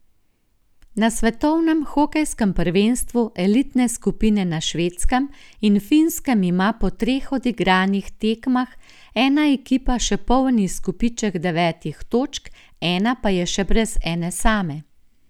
Na svetovnem hokejskem prvenstvu elitne skupine na Švedskem in Finskem ima po treh odigranih tekmah ena ekipa še poln izkupiček devetih točk, ena pa je še brez ene same.